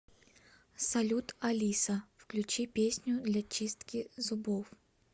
салют алиса включи песню для чистки зубов